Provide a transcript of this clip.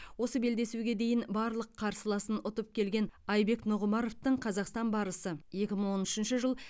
осы белдесуге дейін барлық қарсыласын ұтып келген айбек нұғымаровтың қазақстан барысы екі мың он үшінші жыл